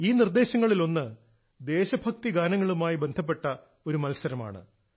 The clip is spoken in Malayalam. ഈ നിർദ്ദേശങ്ങളിൽ ഒന്ന് ദേശഭക്തി ഗാനങ്ങളുമായി ബന്ധപ്പെട്ട ഒരു മത്സരമാണ്